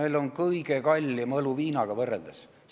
Meil on kõige kallim õlu viinaga võrreldes.